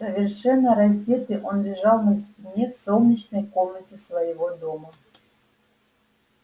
совершенно раздетый он лежал на спине в солнечной комнате своего дома